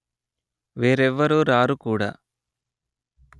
వేరెవ్వరు రారు కూడ